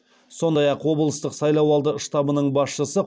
сондай ақ облыстық сайлауалды штабының басшысы